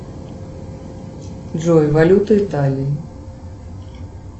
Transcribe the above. джой валюта италии